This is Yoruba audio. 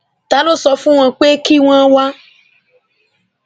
ta ló sọ fún wọn pé kí wọn wá